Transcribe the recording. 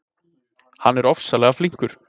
Hann er ofsalega flinkur.